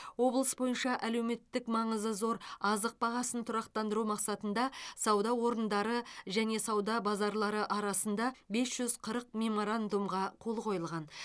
облыс бойынша әлеуметтік маңызы зор азық бағасын тұрақтандыру мақсатында сауда орындары және сауда базарлары арасында бес жүз қырық меморандумға қол қойылған